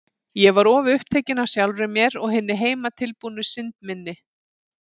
Ég var of upptekin af sjálfri mér og hinni heimatilbúnu synd minni.